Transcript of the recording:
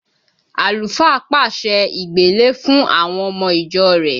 Àlùfáà pàṣẹ ìgbélé fún àwọn ọmọ ìjọ rẹ̀